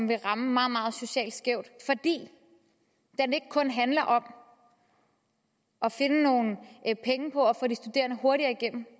vil ramme meget meget socialt skævt fordi den ikke kun handler om at finde nogle penge på at få de studerende hurtigere igennem